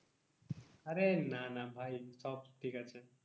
আরে না না ভাই সব ঠিক আছে।